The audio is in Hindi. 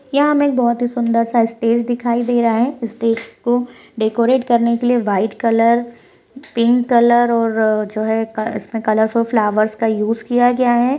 यहां हमे एक सुन्दर सा स्टेज दिखाई दे रहा है स्टेज को डेकोरेट करने के लिए वाइट कलर पिंक कलर इसमें कलरफुल फ्लावर्स का यूज़ किया गया है।